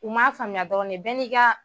U m'a faamuya dɔrɔn de, bɛɛ n'i ka